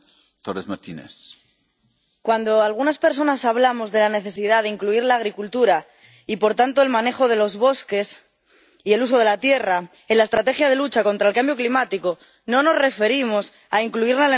Cuando algunas personas hablamos de la necesidad de incluir la agricultura y, por tanto, el manejo de los bosques y el uso de la tierra en la estrategia de lucha contra el cambio climático, no nos referimos a incluirla en el mercadeo mundial de derechos de emisión.